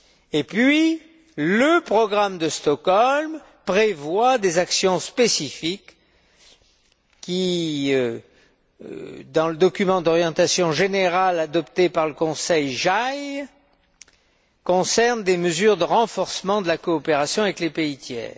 Et puis le programme de Stockholm prévoit des actions spécifiques qui, dans le document d'orientation générale adopté par le Conseil Justice et affaires intérieures concernent des mesures de renforcement de la coopération avec les pays tiers.